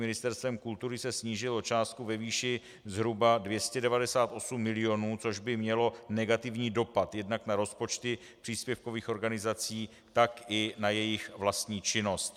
Ministerstvem kultury se snížil o částku ve výši zhruba 298 mil., což by mělo negativní dopad jednak na rozpočty příspěvkových organizací, tak i na jejich vlastní činnost.